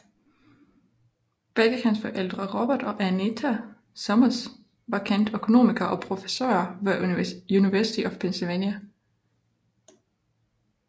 Begge hans forældre Robert og Anita Summers var kendte økonomer og professorer ved University of Pennsylvania